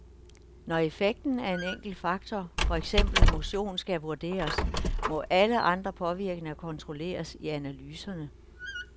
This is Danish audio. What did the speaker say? Når effekten af en enkelt faktor for eksempel motion skal vurderes, må alle andre påvirkninger kontrolleres i analyserne.